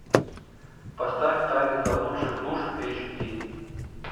поставь тайны заблудших душ эйч ди